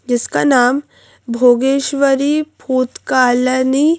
जिसका नाम भोगेश्वरी भूतका लनी--